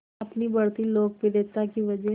अपनी बढ़ती लोकप्रियता की वजह